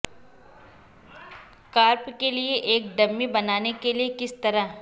carp کے لئے ایک ڈمی بنانے کے لئے کس طرح